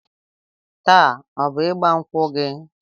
Taa ọ bụ ịgba nkwụ gị?